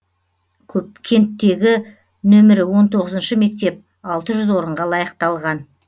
кенттегі нөмірі он тоғызыншы мектеп алты жүз орынға лайықталған